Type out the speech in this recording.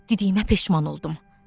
Deydiyimə peşman oldum.